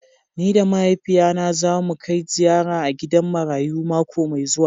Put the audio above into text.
Ni da mahaifiya na za mu Kai ziyara a gidan marayu mako Mai zuwa.